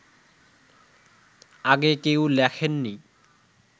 আগে কেউ লেখেননি